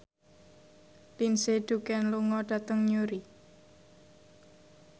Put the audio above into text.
Lindsay Ducan lunga dhateng Newry